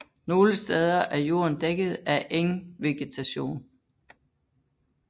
Nogle steder er jorden dækket af engvegetation